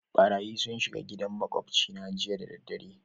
Ɓarayyi sun shiga gidan maƙwabci na jiya da dare.